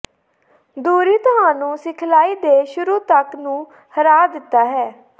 ਦੂਰੀ ਤੁਹਾਨੂੰ ਸਿਖਲਾਈ ਦੇ ਸ਼ੁਰੂ ਤੱਕ ਨੂੰ ਹਰਾ ਦਿੱਤਾ ਹੈ